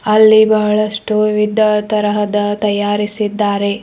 ಅಲ್ಲಿ ಬಹಳಷ್ಟು ವಿವಿಧ ತರಹದ ತಯಾರಿಸಿದ್ದಾರೆ.